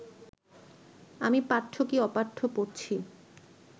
আমি পাঠ্য কি অপাঠ্য পড়ছি